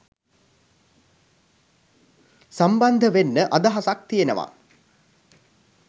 සම්බන්ධ වෙන්න අදහසක් තියෙනවා